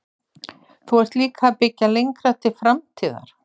Þú ert líka að byggja lengra til framtíðar?